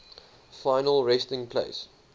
final resting place